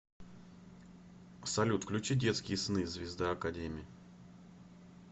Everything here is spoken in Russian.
салют включи детские сны звезда академи